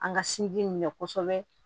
An ka sinji min mɛn kosɛbɛ